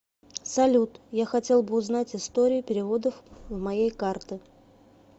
салют я хотел бы узнать историю переводов в моей карты